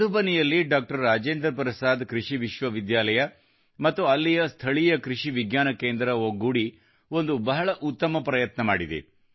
ಮಧುಬನಿಯಲ್ಲಿ doctor Rajendra Prasad ಕೃಷಿ ವಿಶ್ವವಿದ್ಯಾಲಯ ಮತ್ತು ಅಲ್ಲಿನ ಸ್ಥಳೀಯ ಕೃಷಿ ವಿಜ್ಞಾನ ಕೇಂದ್ರ ಒಗ್ಗೂಡಿ ಒಂದು ಬಹಳ ಉತ್ತಮ ಪ್ರಯತ್ನ ಮಾಡಿದೆ